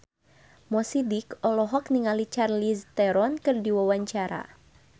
Mo Sidik olohok ningali Charlize Theron keur diwawancara